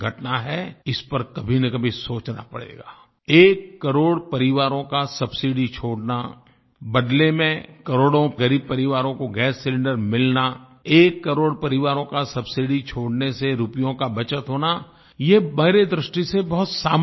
इस पर कभीनकभी सोचना पड़ेगाI एककरोड़ परिवारों का सब्सिडी छोड़ना बदले में करोड़ों ग़रीब परिवारों को गैस सिलिंडर मिलनाI एक करोड़ परिवारों का सब्सिडी छोड़ने से रुपयों का बचत होना ये बाहरी दृष्टि से बहुत सामान्य बातें हैं